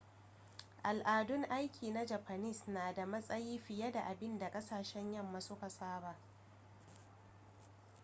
al'adun aiki na japanese na da matsayi fiye da abin da kasashen yamma suka saba